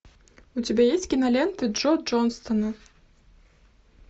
у тебя есть кинолента джо джонсона